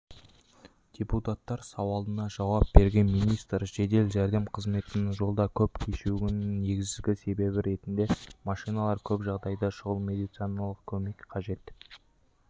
депутаттар сауалына жауап берген министр жедел жәрдем қызметінің жолда көп кешігуінің негізгі себебі ретінде машиналар көп жағдайда шұғыл медициналық көмек қажет